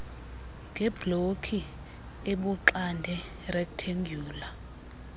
ngebloki ebuxande rektendyula